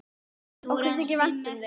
Okkur þykir vænt um þig.